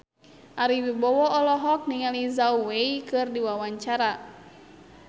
Ari Wibowo olohok ningali Zhao Wei keur diwawancara